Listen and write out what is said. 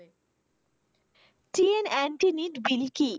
CNT